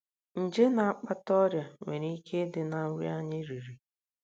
Nje na - akpata ọrịa nwere ike ịdị ná nri anyị riri.